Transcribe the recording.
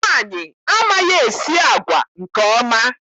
Nwaanyị amaghị-esi agwa nke ọma.